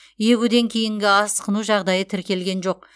егуден кейінгі асқыну жағдайы тіркелген жоқ